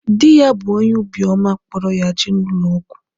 Di ya bu onye obi oma kporo ya jee na ulo ogwu.